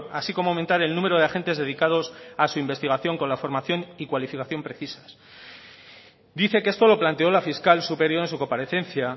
así como aumentar el número de agentes dedicados a su investigación con la formación y cualificación precisas dice que esto lo planteó la fiscal superior en su comparecencia